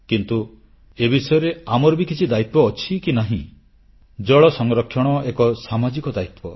କିନ୍ତୁ ଏ ବିଷୟରେ ଆମର ବି କିଛି ଦାୟିତ୍ୱ ଅଛି କି ନାହିଁ ଜଳ ସଂରକ୍ଷଣ ଏକ ସାମାଜିକ ଦାୟିତ୍ୱ